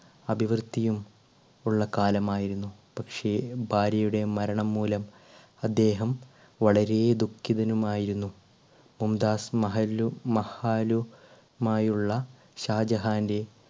അഭിവൃദ്ധിയും ഉള്ള കാലമായിരുന്നു പക്ഷേ ഭാര്യയുടെ മരണം മൂലം അദ്ദേഹം വളരെ ദുഃഖിതനും ആയിരുന്നു. മുംതാസ് മഹലു~മഹലുമായുള്ള ഷാജഹാന്റെ